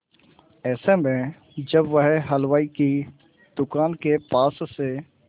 ऐसे में जब वह हलवाई की दुकान के पास से